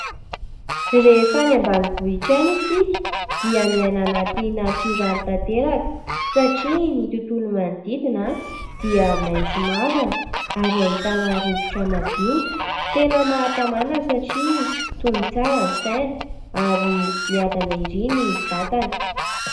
Rehefa any ambanivohitra any isika dia miaina anaty natoraly tanteraka satria ny tontolo manodidina dia maitso mavana ary ahitana rivotra madio ; tena mahatamana satria tony tsara ny saina ary miadana ery ny vatana.